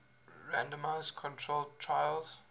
randomized controlled trials